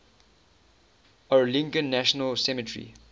arlington national cemetery